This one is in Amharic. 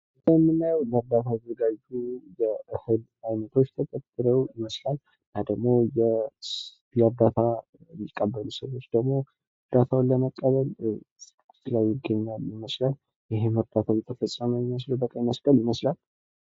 ከላይ የምናየው ለእርዳታ የተዘጋጁ እህሎች ተደርድረው ይመስላል። እና ደግሞ እርዳታ የሚቀበሉ ሰዎች ደግሞ እርዳታውን ለመቀበል እዛው ይገኛሉ ይመስላል። ይሄም እርዳታ የተፈጸመው በቀይ መስቀል ይመስላል።